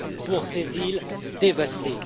pour ces îles dévastées.